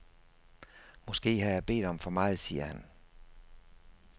Måske har jeg bedt om for meget, siger han.